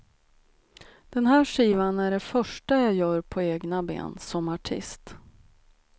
Den här skivan är det första jag gör på egna ben som artist.